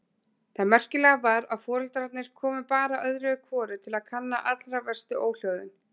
Það merkilega var að foreldrarnir komu bara öðru hvoru til kanna allra verstu óhljóðin.